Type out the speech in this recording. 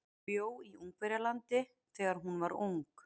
Hún bjó í Ungverjalandi þegar hún var ung.